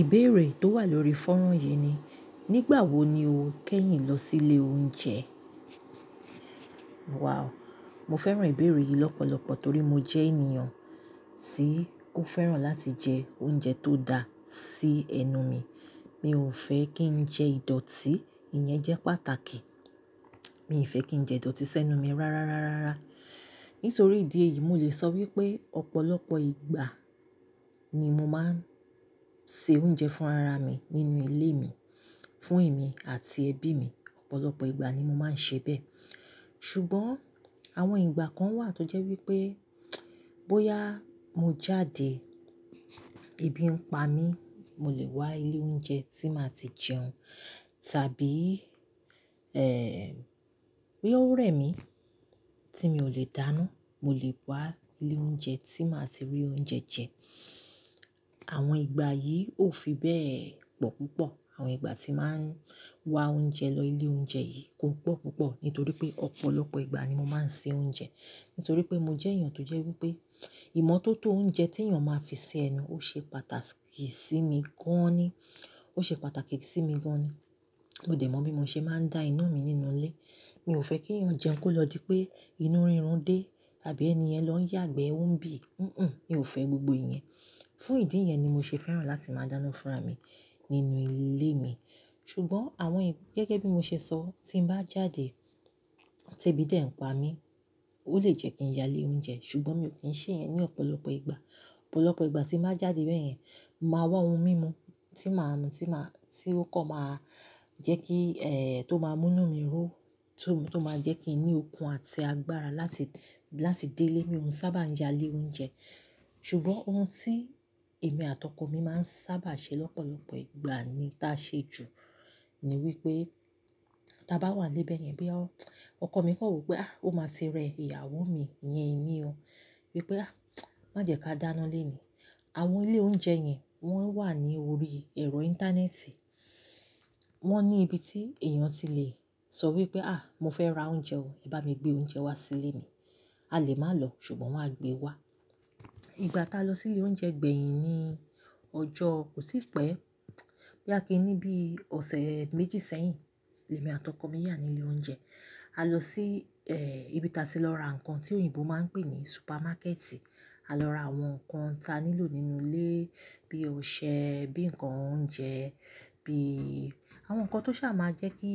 Ìbéèrè tó wà lórí fọ́nrán yìí ni, nígbà wo ni o kẹ́yìn lọ sílé oúnjẹ? Wow. Mo fẹ́ràn ìbéèrè yìí lọ́pọ̀lọpọ̀ torí mo jẹ́ ènìyàn tí ó fẹ́ràn láti jẹ oúnjẹ tó da sí ẹnu mi. Mi ò fẹ́ kí n jẹ ìdọ̀tí, ìyẹn jẹ́ pàtàkì. Mi ò fẹ́ kí n jẹ ìdọ̀tí sẹ́nu mi rárárá. Nítorí ìdí èyí, mo lè sọ wípé ọ̀pọ̀lọpọ̀ ìgbà ni mo máa ń se oúnjẹ fún ara mi nínú ilé mi, fún ẹ̀mí àti ẹbí mi. Ọ̀pọ̀lọpọ̀ ìgbà ni mo máa ń ṣe bẹ́ẹ̀. Ṣùgbọ́n àwọn ìgbà kan wà tó jẹ́ wípé, bóyá mo jáde, ebi ń pa mí, mo lè wá ilé oúnjẹ tí màá ti jẹun. Tàbí, ẹ, boya ó rẹ̀ mí tí mi ò lè dáná, mo lè wá ilé oúnjẹ tí màá ti rí oúnjẹ jẹ. Àwọn ìgbà yìí ò fi bẹ́ẹ̀ pọ̀ púpọ̀. Àwọn ìgbà tí màá ń wá oúnjẹ lọ ilé oúnjẹ yìí kò pọ̀ púpọ̀ nítorí pé ọ̀pọ̀lọpọ̀ ìgbà ni mo máa ń se oúnjẹ. Nítorí pé mo jẹ́ èèyàn tó jẹ́ wípé ìmọ́tótó oúnjẹ tí èèyàn máa fi se ẹnu, ó ṣe pàtàkì sí mi gan ni. Ó ṣe pàtàkì sí mi gan ni. Mo dẹ̀ mọ bí mo ṣe máa ń da iná mi nínú ilé. Mi ò fẹ́ kí èèyàn jẹun kó lọ di pé inú rírun dé tàbí ẹni yẹ́n lọ yàgbẹ́ òun bí. Hunhun, mi ò fẹ́ gbogbo ìyẹn. Fún ìdí yẹn ni mo ṣe fẹ́ràn láti máa dáná fún ara mi nínú ilé mi. Ṣùgbọ́n àwọn ì-- gẹ́gẹ́ bí mo ṣe sọ, tí n bá jáde tí ebí dé ń pa mí, ó lè jẹ́ kí n ya ilé oúnjẹ. Ṣùgbọ́n mi ò kí ń ṣe yẹn ní ọ̀pọ̀lọpọ̀ ìgbà. Ọ̀pọ̀lọpọ̀ ìgbà tí ń bàá jáde bẹ́ẹ̀ yẹn, màá wá ohun mímu tí màá mu, tí màá, tí ó kọ̀ máa jẹ́ kí, eh, tó máa mú inú mi ró, tó, tó máa jẹ́ kí n ní okun àti agbára láti, láti dé ilé mi. Mo sábà ń ya ilé oúnjẹ. Ṣùgbọ́n ohun tí èmi àti ọkọ mi máa ń sábà ṣe lọ́pọ̀lọpọ̀ ìgbà ni ta ṣe jù, ni wípé tí a bá wà nílẹ̀ bẹ yẹn bóyá ọkọ mi kàn wò pé, "Ah, ó máa ti rẹ ìyàwó mi iyẹn èmi óo." Wípé, "Ah, má jẹ kí a dáná léènì." Àwọn ilé oúnjẹ yẹn wọ́n wà ní orí ẹ̀rọ íńtánẹ́ẹ̀tì. Wọ́n ní ibi tí èèyàn ti le sọ wípé, "Ah, mo fẹ́ ra oúnjẹ o, ẹ bá mi gbé oúnjẹ wá sílé mi." A lè má lọ ṣùgbọ́n wọ́n á gbé wá. Ìgbà tá a lọ sílé oúnjẹ gbẹ̀yìn ni ọjọ́ kò tí pẹ́. Bóyá kí i ní bí ọ̀sẹ̀ méjì sẹ́yìn, lèmi àti ọkọ mi yà nílé oúnjẹ. A lọ sí, eh, ibi táa ti lọ ra ǹkan tí òyìnbó máa ń pè ní supermarket. A lọ ra àwọn ǹkan tí a nílò nínú ilé bí i ọṣẹ, bíi ǹkan oúnjẹ, bí i àwọn ǹkan tó ṣáà máa jẹ́ kí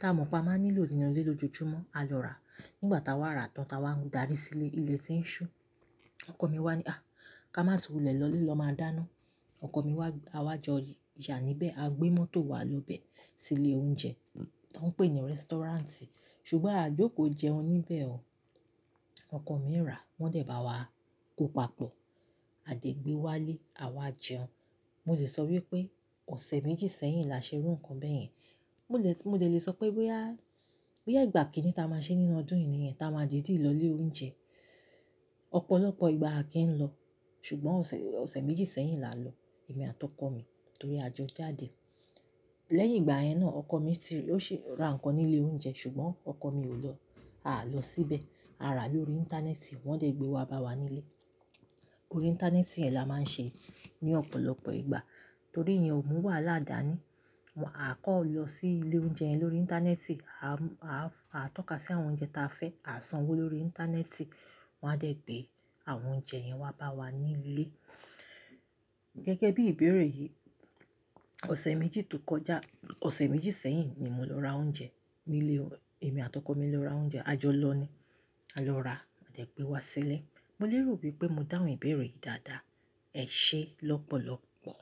táa mọ̀ pé a máa nílò nínú ilé lójoojúmọ́, a lọ rà. Nígbà táa wà ra tán táa wá ń darí sílé, ilẹ́ ti ń ṣú. Ọkọ mi wá ní, "Ah, ká máa tú wulẹ̀ lọlé lọ máa dáná." Ọkọ mi wá, a wá jọ yà níbẹ̀, a gbé mọ́tò wa lọbẹ̀ sílé oúnjẹ tó ń pè ní rẹ́sítọ́ráǹtì. Ṣùgbọ́n a jókòó jẹun níbẹ̀ o. Ọkọ mi rà, wọ́n dẹ̀ bá wa kó papọ̀, a dẹ̀ gbé wá lé, a wá jẹun. Mo lè sọ wípé ọ̀sẹ̀ méjì sẹ́yìn la ṣe rú ǹkan bẹ́ẹ̀ yẹn. Mo lè, mo dẹ̀ lè sọ pé bóyá, bóyá ìgbà kìíní táa máa ṣe nínú ọdún yìí nìyẹn táa máa dìdí lọ ilé oúnjẹ. Ọ̀pọ̀lọpọ̀ ìgbà a kì í lọ. Ṣùgbọ́n ọ̀ṣẹ̀, ọ̀ṣẹ̀ méjì sẹ́yìn la lọ, èmi àti ọkọ mi nítorí a jọ jáde. Lẹ́yìn ìgbà yẹn náà, ọkọ mi ti-- ó ṣe ra ǹkan nílé oúnjẹ ṣùgbọ́n ọkọ mi ò lọ. A lọ síbẹ̀, a rà lórí íńtánẹ́ẹ̀tì, wọ́n dẹ̀ gbé wá bá wa nílé. Órí íńtánẹ́ẹ̀tì yẹ́n la máa ń ṣe ní ọ̀pọ̀lọpọ̀ ìgbà torí ìyẹn ò mú wà ládàá ni. A kọ̀ lọ sílé oúnjẹ yẹn lórí íńtánẹ́ẹ̀tì. A, a, a tọ́ka sí àwọn oúnjẹ tí a fẹ́, a sanwó lórí íńtánẹ́ẹ̀tì, wọ́n á dẹ̀ gbé àwọn oúnjẹ yẹn wá bá wa nílé. Gẹ́gẹ́ bí ìbéèrè yìí, ọ̀sẹ̀ méjì tó kọjá, ọ̀sẹ̀ méjì sẹ́yìn ni mo lọ ra oúnjẹ nílé o-- èmi àti ọkọ mi lọ ra oúnjẹ. A jọ lọ ni. A lọ rà, a dẹ̀ gbé wá sílé. Mo lè rò wípé mo dáhùn ìbéèrè yìí dáadáa. Ẹ ṣé lọ́pọ̀lọpọ̀.